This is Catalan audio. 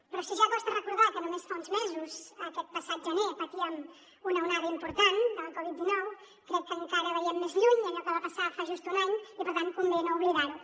però si ja costa recordar que només fa uns mesos aquest passat gener patíem una onada important de la covid dinou crec que encara veiem més lluny allò que va passar fa just un any i per tant convé no oblidar ho